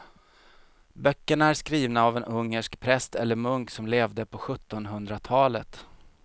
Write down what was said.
Böckerna är skrivna av en ungersk präst eller munk som levde på sjuttonhundratalet.